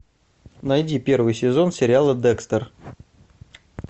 найди первый сезон сериала декстер